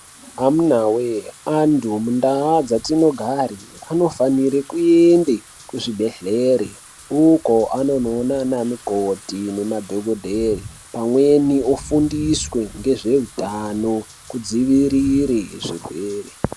Amunawee, antu mundau dzatinogare, anofanire kuende kuzvibhedhlere, uko anonoona anamukoti nanadhogodheya, pamweni ofundiswe ngezveutano, kudzivirire zvirwere.